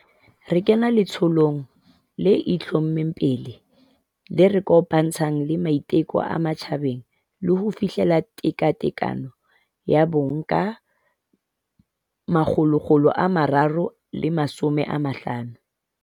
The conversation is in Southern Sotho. Re kene letsholong le itlho-mmeng pele le re kopantshang le maiteko a matjhabeng a ho fihlella tekatekano ya bong ka 2030.